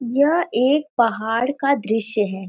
यह एक पहाड़ का दृश्य है।